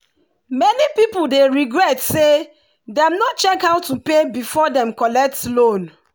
many people dey regret say dem no check how to pay before dem collect loan.